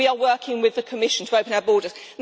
We are working with the Commission to open our borders.